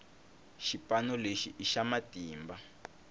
xipano lexi i xa matimba